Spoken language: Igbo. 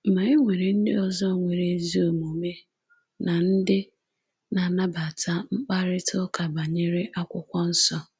Ma e nwere ndị ọzọ nwere ezi omume na ndị na-anabata mkparịtaụka banyere Akwụkwọ Nsọ.”